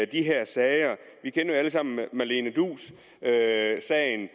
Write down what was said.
de her sager vi kender jo alle sammen marlene duus sagen